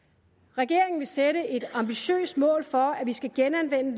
regeringen vil sætte et ambitiøst mål for at vi skal genanvende